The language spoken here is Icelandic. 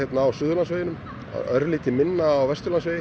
á Suðurlandsveginum örlítið minna á Vesturlandsveginum